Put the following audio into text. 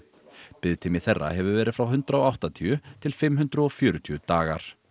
biðtími þeirra hefur verið frá hundrað og áttatíu til fimm hundruð og fjörutíu dagar